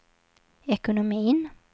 ekonomin